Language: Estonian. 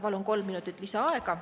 Palun kolm minutit lisaaega.